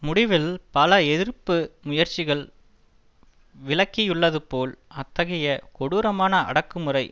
முடிவில் பல எதிர்ப்பு முயற்சிகள் விளக்கியுள்ளதுபோல் அத்தகைய கொடூரமான அடக்குமுறை